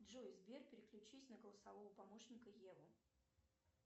джой сбер переключись на голосового помощника еву